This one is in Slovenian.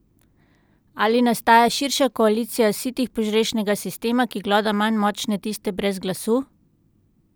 Ali nastaja širša koalicija sitih požrešnega sistema, ki gloda manj močne, tiste brez glasu?